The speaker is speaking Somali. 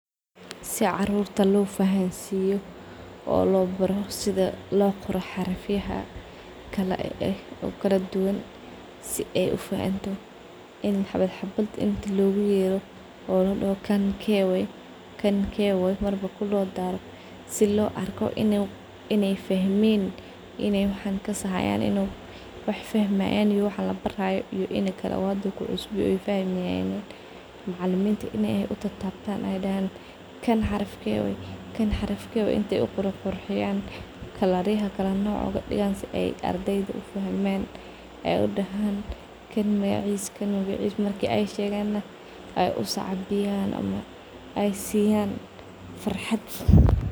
Si carurta lofahansiyo oo lo baro sida loqoro xarafyaha kala eh oo kala duwan , si ay ufahanto in xabas xabad loguyero kan ke way kan ke way ay fahamayah waxaan labarayo in ay uqurux quruxiyan aa larawah wax fahamayan iyo wax labarayo macaliminta in ay utabtab ay ukalaweydiyan ay udahan kan magacis kan magacis ay ukala qurxiyan sas aa larawah , crurtas markas sifican ay wax marki ay shegana ay usacabiyan ay siyan farxad.